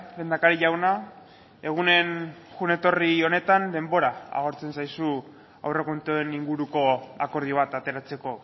lehendakari jauna egunen joan etorri honetan denbora agortzen zaizu aurrekontuen inguruko akordio bat ateratzeko